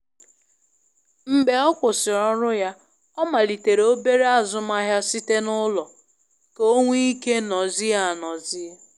Mgbe ọ kwụsịrị ọrụ ya, ọ malitere obere azụmahịa site n'ụlọ ka o nwe ike nozie anozie.